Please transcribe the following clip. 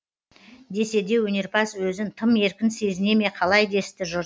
десе де өнерпаз өзін тым еркін сезіне ме қалай десті жұрт